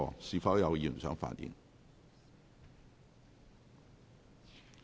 是否有議員想發言？